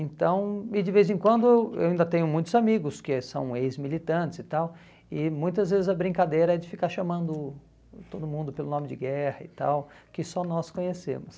Então, e de vez em quando eu ainda tenho muitos amigos que são ex-militantes e tal, e muitas vezes a brincadeira é de ficar chamando todo mundo pelo nome de guerra e tal, que só nós conhecemos.